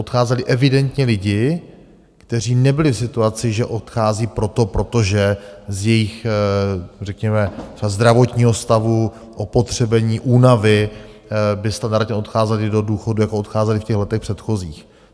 Odcházeli evidentně lidi, kteří nebyli v situaci, že odchází proto, protože z jejich, řekněme třeba zdravotního stavu, opotřebení únavy by standardně odcházeli do důchodu, jako odcházeli v těch letech předchozích.